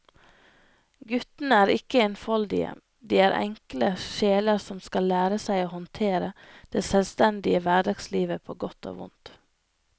Guttene er ikke enfoldige, de er enkle sjeler som skal lære seg å håndtere det selvstendige hverdagslivet på godt og vondt.